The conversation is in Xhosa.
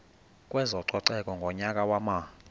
kwezococeko ngonyaka wama